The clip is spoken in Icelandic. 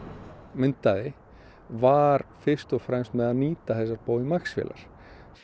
myndaði var fyrst og fremst með því að nýta þessar Boeing Max vélar